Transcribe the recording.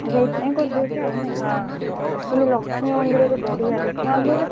ଓ ସେଇଥି ପାଇଁ କରି ଦଉଛ ନାଇଁ କିନ୍ତୁ ଲକ୍ଷ୍ମୀ ମନ୍ଦିର ରେ ବଢିଆ ବେ ସୁବିଧା ।